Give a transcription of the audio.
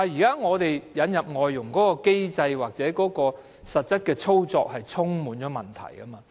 不過，對於引入外傭的機制或實際操作，現在是問題多多的。